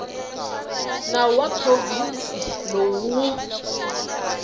nawu wa provhinsi lowu wu